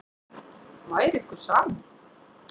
Væri ykkur sama?